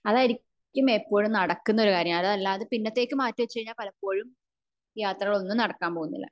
അതായിരിക്കും ഇപ്പോഴും നടക്കുന്ന കാര്യം അതല്ലാതെ പിന്നത്തേക്ക് മാറ്റി വച്ച് കഴിഞ്ഞ പലപ്പോഴും യാത്ര ഒന്നും നടക്കാൻ പോവുന്നില്ല